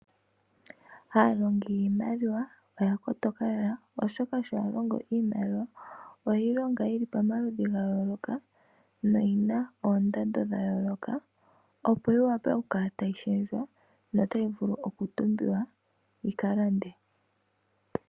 Aalongi yiimaliwa oya kotoka lela oshoka sho ya longo iimaliwa oye longa yili pomaludhi ga yooloka noyina oondando dha yooloka opo yiwape okukala tayi shendjwa yo otayi vulu okutumbwa yika lande.